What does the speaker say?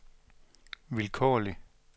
vilkårlig